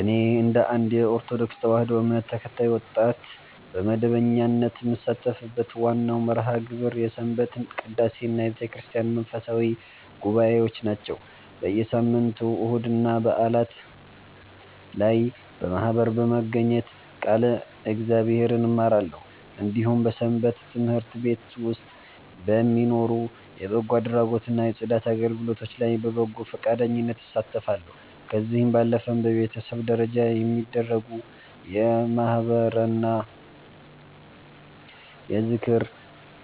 እኔ እንደ አንድ የኦርቶዶክስ ተዋሕዶ እምነት ተከታይ ወጣት፣ በመደበኛነት የምሳተፍበት ዋናው መርሃ ግብር የሰንበት ቅዳሴና የቤተክርስቲያን መንፈሳዊ ጉባኤዎች ናቸው። በየሳምንቱ እሁድና በዓላት ላይ በማኅበር በመገኘት ቃለ እግዚአብሔርን እማራለሁ፤ እንዲሁም በሰንበት ትምህርት ቤት ውስጥ በሚኖሩ የበጎ አድራጎትና የጽዳት አገልግሎቶች ላይ በበጎ ፈቃደኝነት እሳተፋለሁ። ከዚህ ባለፈም በቤተሰብ ደረጃ በሚደረጉ የማኅበርና የዝክር